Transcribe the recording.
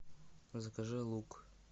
закажи лук